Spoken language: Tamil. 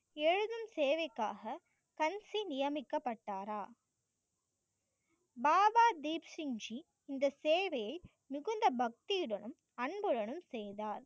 எழுதும் தேவைக்காக கன்சி நியமிக்கப்பட்டாரா? பாபா தீப் சிங் ஜி இந்த சேவையை மிகுந்த பக்தியுடனும் அன்புடனும் செய்தார்.